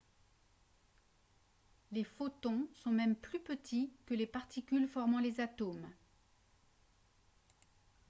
les photons sont même plus petits que les particules formant les atomes !